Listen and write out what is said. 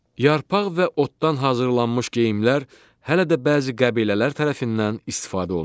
Yarpaq və otdan hazırlanmış geyimlər hələ də bəzi qəbilələr tərəfindən istifadə olunur.